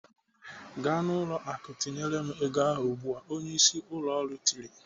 "Gaa n'ụlọ akụ tinyere m ego ahụ ugbu a!" Onyeisi ụlọ ọrụ tiri.